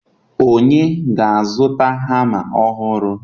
onye ga-azụta hama ọhụrụ